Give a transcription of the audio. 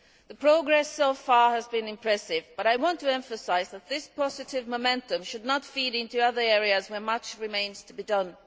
The progress so far has been impressive, but I want to emphasise that this positive momentum should now feed into other areas where much remains to be done.